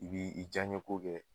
I b'i i jaɲɛ ko kɛ